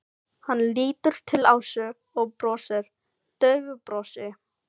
Hann lítur til Ásu og brosir daufu brosi.